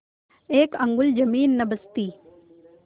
एक अंगुल जमीन न बचती